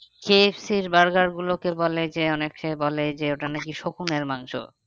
কে F C র berger গুলোকে বলে যে অনেকে বলে যে ওটা নাকি শুকুনের মাংস